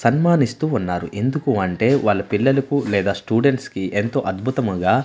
సన్మానిస్తూ ఉన్నారు ఎందుకు అంటే వాళ్ళ పిల్లలకు లేదా స్టూడెంట్స్ కి ఎంతో అద్భుతముగా.